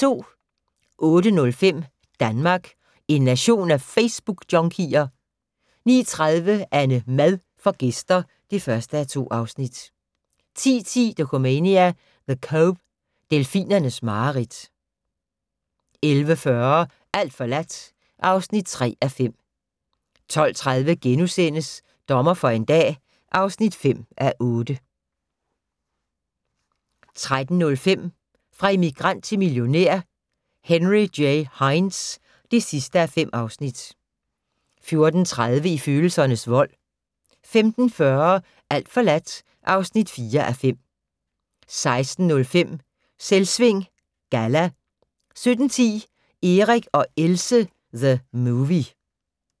08:05: Danmark - en nation af Facebookjunkier? 09:30: AnneMad får gæster (1:2) 10:10: Dokumania: The Cove - delfinernes mareridt 11:40: Alt forladt (3:5) 12:30: Dommer for en dag (5:8)* 13:05: Fra immigrant til millionær: Henry J. Heinz (5:5) 14:30: I følelsernes vold 15:40: Alt forladt (4:5) 16:05: Selvsving Galla 17:10: Erik og Else - The movie